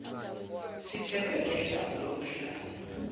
sithelwe ngehlazo lokuhlale